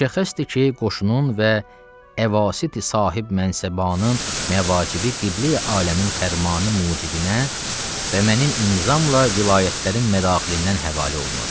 Müşəxxəsdir ki, qoşunun və əvasiti sahibmənsəbanın məvacibi qibləyi aləmin fərmanı mucibinə və mənim imzamla vilayətlərin mədaxilindən həvalə olunur.